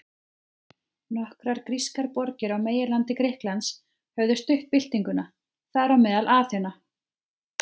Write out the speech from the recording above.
Nokkrar grískar borgir á meginlandi Grikklands höfðu stutt byltinguna, þar á meðal Aþena.